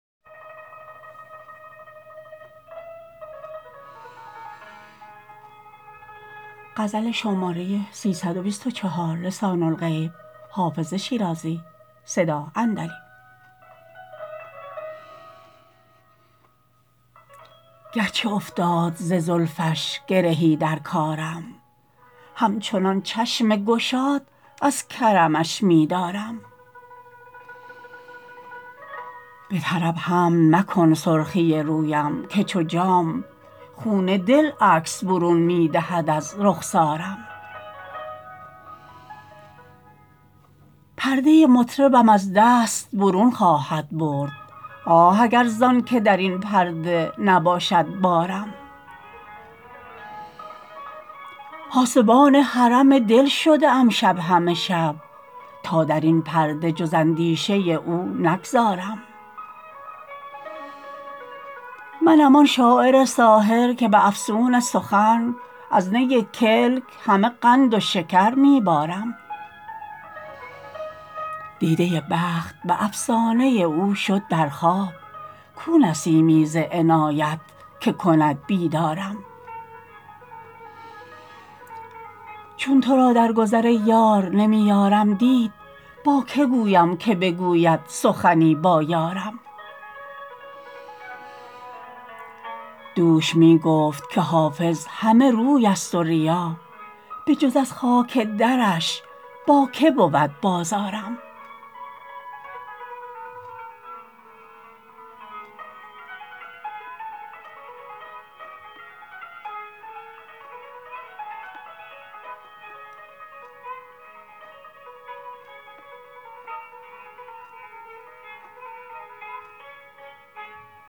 گرچه افتاد ز زلفش گرهی در کارم همچنان چشم گشاد از کرمش می دارم به طرب حمل مکن سرخی رویم که چو جام خون دل عکس برون می دهد از رخسارم پرده مطربم از دست برون خواهد برد آه اگر زان که در این پرده نباشد بارم پاسبان حرم دل شده ام شب همه شب تا در این پرده جز اندیشه او نگذارم منم آن شاعر ساحر که به افسون سخن از نی کلک همه قند و شکر می بارم دیده بخت به افسانه او شد در خواب کو نسیمی ز عنایت که کند بیدارم چون تو را در گذر ای یار نمی یارم دید با که گویم که بگوید سخنی با یارم دوش می گفت که حافظ همه روی است و ریا بجز از خاک درش با که بود بازارم